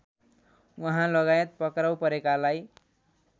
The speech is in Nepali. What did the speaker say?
उहाँलगायत पक्राउ परेकालाई